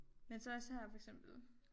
Men så også her for eksempel